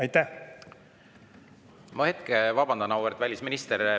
Ma korra vabandan, auväärt välisminister.